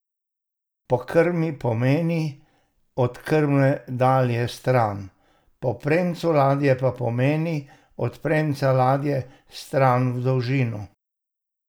Po krmi pomeni, od krme ladje stran, po premcu ladje pa pomeni, od premca ladje stran v dolžino.